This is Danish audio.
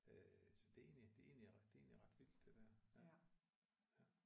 Øh så det er egentlig det er egentlig ret det er egentlig ret vildt det der ja ja